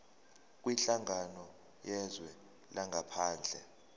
kwinhlangano yezwe langaphandle